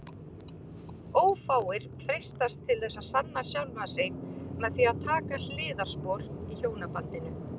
Ófáir freistast til þess að sanna sjálfan sig með því að taka hliðarspor í hjónabandinu.